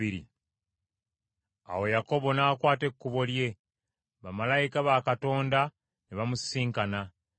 Awo Yakobo n’akwata ekkubo lye, bamalayika ba Katonda ne bamusisinkana.